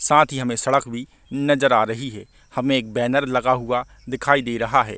साथ ही हमें सड़क भी नजर आ रही है हमें एक बैनर लगा हुआ दिखाई दे रहा है।